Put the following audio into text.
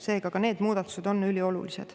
Seega ka need muudatused on üliolulised.